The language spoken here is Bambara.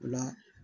O la